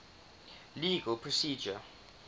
legal procedure